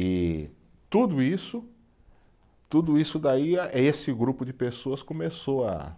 E tudo isso, tudo isso daí a, esse grupo de pessoas começou a,